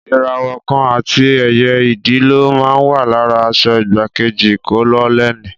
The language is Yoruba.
Ìràwọ̀ kan àti ẹyẹ Idì ló máa ń wà lára aṣọ igbákejì kólónẹ́ẹ̀lì.